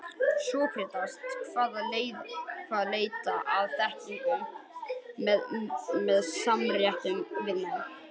Sókrates kvaðst leita að þekkingu með samræðum við menn.